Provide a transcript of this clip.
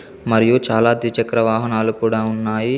మరియు చాలా ద్విచక్ర వాహనాలు కూడా ఉన్నాయి.